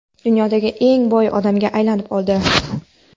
dunyodagi eng boy odamga aylanib oldi.